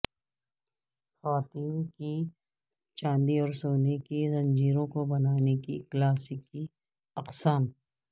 خواتین کی چاندی اور سونے کی زنجیروں کو بانے کی کلاسیکی اقسام